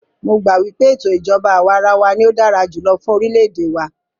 Mó gbà wípé ètò ìjọbá àwàrawa ní o dára jùlọ fún orilẹ ède wa.